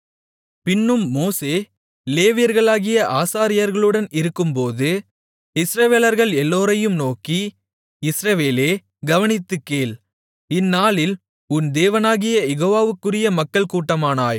பின்னும் மோசே லேவியர்களாகிய ஆசாரியர்களுடன் இருக்கும்போது இஸ்ரவேலர்கள் எல்லோரையும் நோக்கி இஸ்ரவேலே கவனித்துக் கேள் இந்நாளில் உன் தேவனாகிய யெகோவாவுக்குரிய மக்கள் கூட்டமானாய்